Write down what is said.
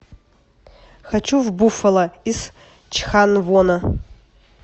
хочу в буффало из чханвона